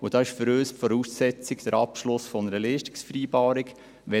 Für uns ist dabei der Abschluss einer Leistungsvereinbarung die Voraussetzung.